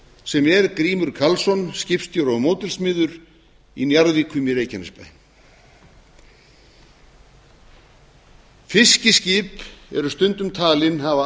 sem er grímur karlsson skipstjóri og módelsmiður í njarðvíkum í reykjanesbæ fiskiskip eru stundum talin hafa